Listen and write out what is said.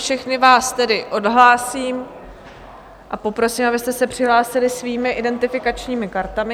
Všechny vás tedy odhlásím a poprosím, abyste se přihlásili svými identifikačními kartami.